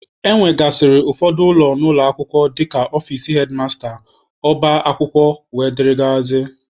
E nwegasịrị ụfọdụ ụlọ n'ụlọ akwụkwọ dịka ọfici hedmasta, ọba akwụkwọ wdg.